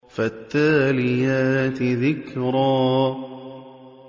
فَالتَّالِيَاتِ ذِكْرًا